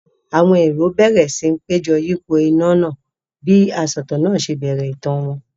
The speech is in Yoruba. Àwọn èrò bẹ̀rẹ̀ síi péjọ yípo iná náà bí asọ̀tàn náà ṣe bẹ̀rẹ̀ ìtàn wọn.